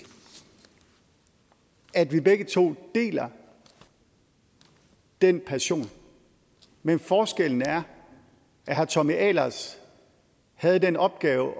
at vi begge to deler den passion men forskellen er at herre tommy ahlers havde den opgave